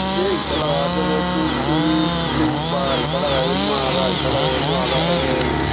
ṣé ìpalára abẹrẹ tó kéré ló ń fa ìpalára inú ara ìpalára inú ara um